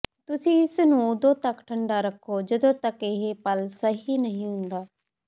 ਤੁਸੀਂ ਇਸ ਨੂੰ ਉਦੋਂ ਤੱਕ ਠੰਡਾ ਰੱਖੋ ਜਦੋਂ ਤੱਕ ਇਹ ਪਲ ਸਹੀ ਨਹੀਂ ਹੁੰਦਾ